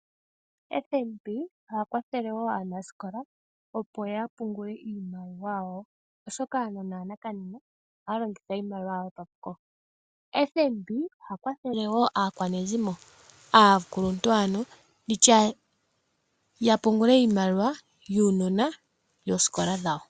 FNB oha kwathele wo aanasikola opo ya pungule iimaliwa yawo, oshoka aanona ya nakanena ohaya longitha iimaliwa yawo papuko. FNB oha kwathele wo aakwanezimo, ano aakuluntu ya pungule iimaliwa yuunona yosikola.